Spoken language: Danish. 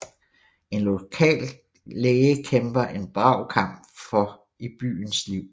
En lokal læge kæmper en brav kamp for i byens liv